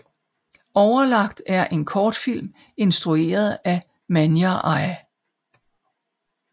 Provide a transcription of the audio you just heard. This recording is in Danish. Overlagt er en kortfilm instrueret af Manyar I